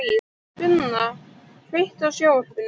Finna, kveiktu á sjónvarpinu.